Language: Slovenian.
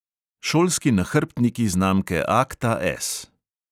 Šolski nahrbtniki znamke akta S.